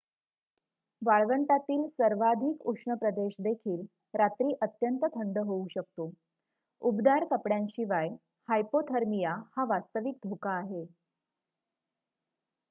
वाळवंटातील सर्वाधिक उष्ण प्रदेश देखील रात्री अत्यंत थंड होऊ शकतो उबदार कपड्यांशिवाय हायपोथर्मिया हा वास्तविक धोका आहे